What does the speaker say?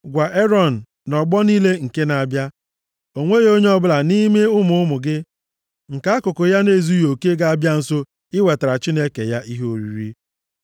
“Gwa Erọn, ‘Nʼọgbọ niile nke na-abịa, o nweghị onye ọbụla nʼime ụmụ ụmụ gị nke akụkụ ahụ ya na-ezughị oke ga-abịa nso iwetara Chineke ya ihe oriri.